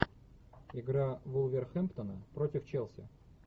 игра вулверхэмптона против челси